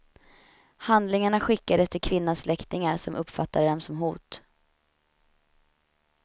Handlingarna skickades till kvinnans släktingar som uppfattade dem som hot.